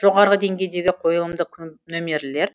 жоғары деңгейдегі қойылымдық нөмірлер